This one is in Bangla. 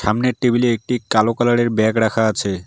সামনের টেবিল -এ একটি কালো কালার -এর ব্যাগ রাখা আছে।